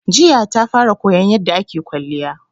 Jiya ta fara koyan yarda ake kwalliya